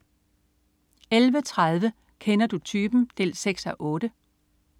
11.30 Kender du typen? 6:8